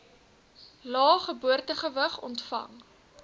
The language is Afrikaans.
lae geboortegewig ontvang